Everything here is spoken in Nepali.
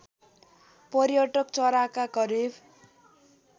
पर्यटक चराका करिब